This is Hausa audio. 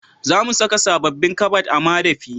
Za mu saka sabobbin kabad a madafi